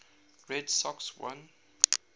red sox won